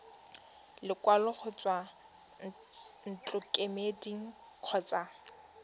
lekwalo go tswa ntlokemeding kgotsa